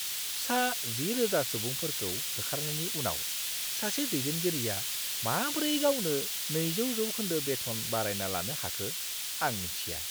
सा 10,000 सुबुंफोरखौ होखारनायनि उनाव सासे दैदेनगिरिआ माब्रै गावनो 200 जौखोन्दो बेथन बारायना लानो हाखो, आं मिन्थिया!